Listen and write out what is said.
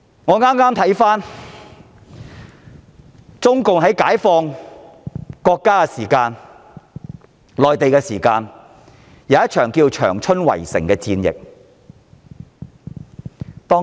我剛回顧共產黨在解放國家戰爭時期進行的一場長春圍城戰。